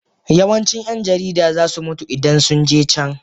Yawancin 'yan jarida za su mutu idan sun je can